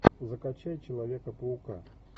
закачай человека паука